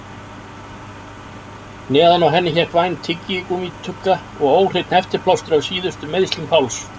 Neðan á henni hékk væn tyggigúmmítugga og óhreinn heftiplástur af síðustu meiðslum Páls.